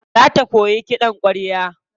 Za ta koyi kiɗan ƙwarya.